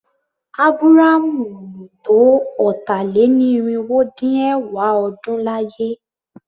Ábúrámú ò lò tó ọ̀tà-lé-ní-irinwó-dín-ẹ̀wá ọdún láyé.